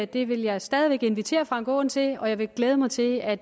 det vil jeg stadig væk invitere herre frank aaen til og jeg vil glæde mig til at